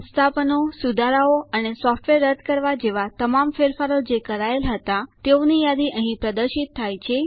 સંસ્થાપનો સુધારાઓ અને સોફ્ટવેર રદ કરવા જેવા તમામ ફેરફારો જે કરાયેલ હતા તેઓની યાદી અહીં પ્રદર્શિત થાય છે